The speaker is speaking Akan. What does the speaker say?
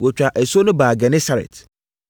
Wɔtwaa asuo no baa Genesaret.